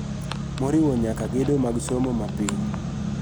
Moriwo nyaka gedo mag somo ma piny.